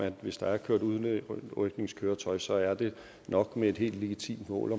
at hvis der er kørt med et udrykningskøretøj så er det nok med et helt legitimt mål